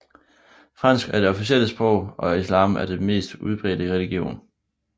Fransk er det officielle sprog og islam er den mest udbredte religion